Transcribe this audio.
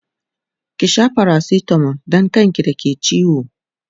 ki Sha paracetamol Dan kan ki da ke ciwo!